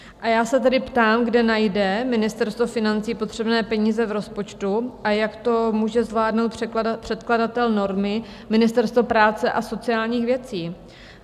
A já se tedy ptám, kde najde Ministerstvo financí potřebné peníze v rozpočtu a jak to může zvládnout předkladatel normy, Ministerstvo práce a sociálních věcí?